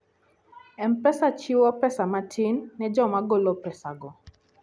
M-Pesa chiwo pesa matin ne joma golo pesago.